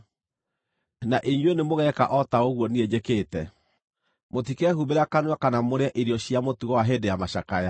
Na inyuĩ nĩmũgeeka o ta ũguo niĩ njĩkĩte. Mũtikehumbĩra kanua kana mũrĩe irio cia mũtugo wa hĩndĩ ya macakaya.